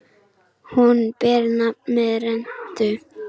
Hún ber nafn með rentu.